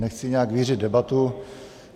Nechci nějak vířit debatu.